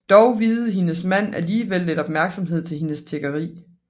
Dog viede hendes mand alligevel lidt opmærksom til hendes tiggeri